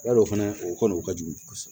Yalo fɛnɛ o kɔni o ka jugu kosɛbɛ